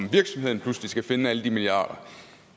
virksomheden pludselig skal finde alle de milliarder